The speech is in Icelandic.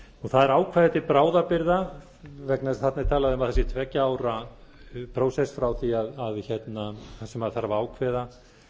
er ákvæði til bráðabirgða vegna þess að þarna er talað um að það sé tveggja ára prósess þar sem þarf að ákveða